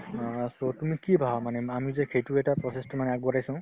অ, so তুমি কি ভাবা মানে আমি যে সেইটো এটা process তো মানে আগবঢ়াইছো